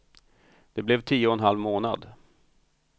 Det blev tio och en halv månad.